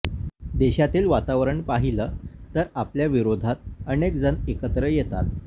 देशातील वातावरण पाहिलं तर आपल्याविरोधात अनेक जण एकत्र येतात